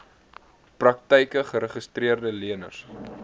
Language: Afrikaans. praktyke geregistreede leners